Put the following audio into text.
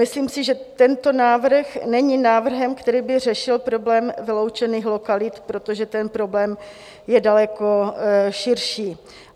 Myslím si, že tento návrh není návrhem, který by řešil problém vyloučených lokalit, protože ten problém je daleko širší.